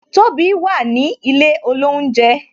Tobi wà ní ilé olounje